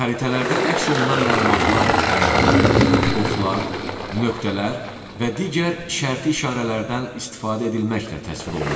Xəritələrdə əks olunan məlumatlar rənglər, oxlar, nöqtələr və digər şərti işarələrdən istifadə edilməklə təsvir olunur.